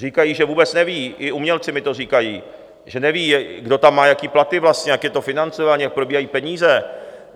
Říkají, že vůbec neví, i umělci mi to říkají, že neví, kdo tam má jaké platy vlastně, jak je to financované, jak probíhají peníze.